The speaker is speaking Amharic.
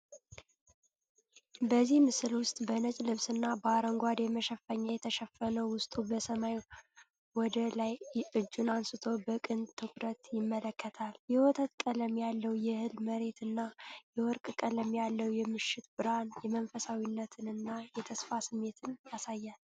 በዚህ ምስል ውስጥ በነጭ ልብስ እና በአረንጓዴ መሸፈኛ የተሸፈነ ዉሰው በሰማይ ወደ ላይ እጁን አንስቶ በቅን ትኩረት ይመለከታል። የወተት ቀለም ያለው የእህል መሬት እና የወርቅ ቀለም ያለው የምሽት ብርሃን የመንፈሳዊነት እና የተስፋ ስሜት ያሳያል።